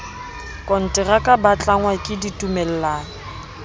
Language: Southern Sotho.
konteraka ba tlangwa ke ditumellano